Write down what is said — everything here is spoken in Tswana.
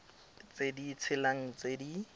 tse di tshelang tse di